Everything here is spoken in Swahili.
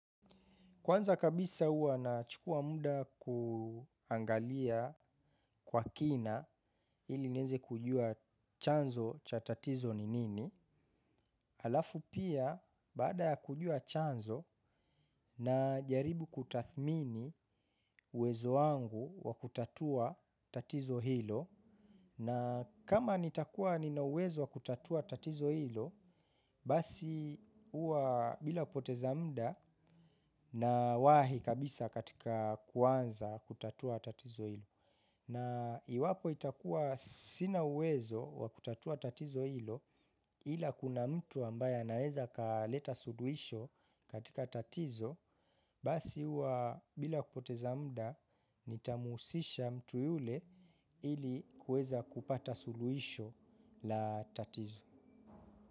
Kwanza kabisa huwa nachukua muda kuangalia kwa kina ili niweze kujua chanzo cha tatizo ni nini. Alafu pia baada ya kujua chanzo na jaribu kutathmini uwezo wangu wa kutatua tatizo hilo. Na kama nitakua nina uwezo wa kutatua tatizo hilo, basi huwa bila poteza muda nawahi kabisa katika kuanza kutatua tatizo hilo. Na iwapo itakua sina uwezo wa kutatua tatizo hilo ila kuna mtu ambaye anaweza akaleta suluhisho katika tatizo. Basi huwa bila kupoteza mda, nitamhusisha mtu yule ili kuweza kupata suluhisho la tatizo.